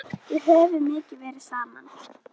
Við höfum verið mikið saman.